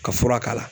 Ka fura k'a la